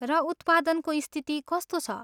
र उत्पादन को स्थिति कस्तो छ?